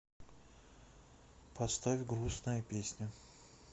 поставь грустная песня